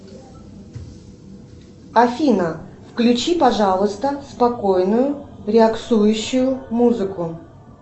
афина включи пожалуйста спокойную релаксующую музыку